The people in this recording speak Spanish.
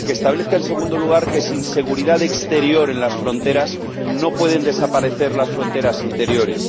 que establezca, en segundo lugar, que sin seguridad exterior en las fronteras no pueden desaparecer las fronteras interiores